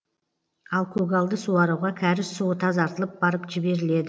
ал көгалды суаруға кәріз суы тазартылып барып жіберіледі